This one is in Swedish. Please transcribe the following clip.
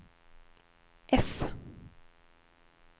F